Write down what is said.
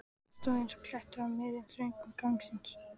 Hann stóð eins og klettur á miðjum, þröngum ganginum.